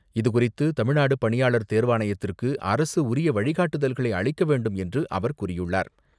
இதுகுறித்து தமிழ்நாடு பணியாளர் தேர்வாணையத்திற்கு அரசு உரிய வழிகாட்டுதல்களை அளிக்க வேண்டும் என்று அவர் கூறியுள்ளார்.